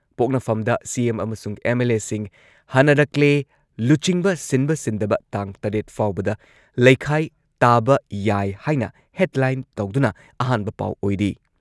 ꯄꯣꯛꯅꯐꯝꯗ CM ꯑꯃꯁꯨꯡ ꯑꯦꯝ.ꯑꯦꯜ.ꯑꯦꯁꯤꯡ ꯍꯟꯅꯔꯛꯂꯦ ꯂꯨꯆꯤꯡꯕ ꯁꯤꯟꯕ ꯁꯤꯟꯗꯕ ꯇꯥꯡ ꯇꯔꯦꯠ ꯐꯥꯎꯕꯗ ꯂꯩꯈꯥꯏ ꯇꯥꯕ ꯌꯥꯏ ꯍꯥꯏꯅ ꯍꯦꯗꯂꯥꯏꯟ ꯇꯧꯗꯨꯅ ꯑꯍꯥꯟꯕ ꯄꯥꯎ ꯑꯣꯏꯔꯤ꯫